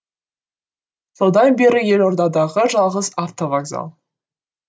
содан бері елордадағы жалғыз автовокзал